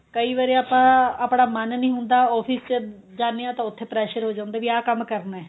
ਕਈ ਵਾਰੀ ਆਪਾਂ ਆਪਣਾ ਮੰਨ ਨਹੀਂ ਹੁੰਦਾ office ਚ ਜਾਨੇ ਆ ਤਾਂ ਉੱਥੇ pressure ਹੋ ਜਾਂਦਾ ਵੀ ਆਹ ਕੰਮ ਕਰਨਾ